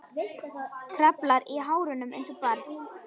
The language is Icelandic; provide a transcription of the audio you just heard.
Kraflar í hárunum einsog barn.